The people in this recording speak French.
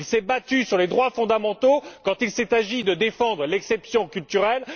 il s'est battu pour les droits fondamentaux quand il s'est agi de défendre l'exception culturelle.